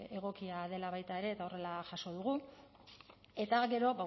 egokia dela baita ere eta horrela jaso dugu eta gero